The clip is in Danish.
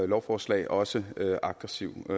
lovforslag også aggressiv